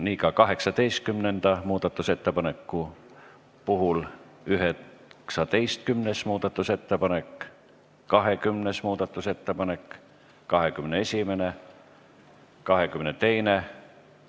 Nii on ka 18. muudatusettepanekuga ning 19., 20., 21. ja 22. muudatusettepanekuga.